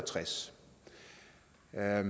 er i